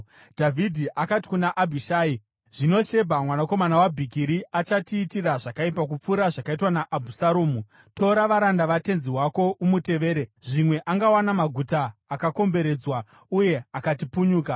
Dhavhidhi akati kuna Abhishai, “Zvino Shebha mwanakomana waBhikiri achatiitira zvakaipa kupfuura zvakaitwa naAbhusaromu. Tora varanda vatenzi wako umutevere, zvimwe angawana maguta akakomberedzwa uye akatipunyuka.”